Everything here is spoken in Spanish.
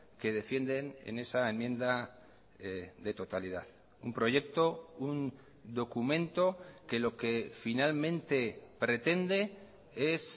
que defienden en esa enmienda de totalidad un proyecto un documento que lo que finalmente pretende es